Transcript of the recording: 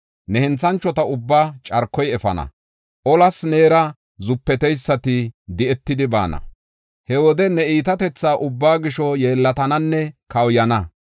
Ne henthanchota ubbaa carkoy efana; olas neera zupeteysati di7etidi baana. He wode ne iitatetha ubbaa gisho yeellatananne kawuyana.